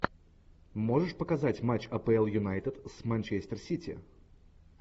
можешь показать матч апл юнайтед с манчестер сити